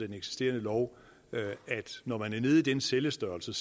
den eksisterende lov at når man er nede i den cellestørrelse